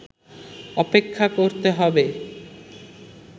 অপেক্ষা করতে হবে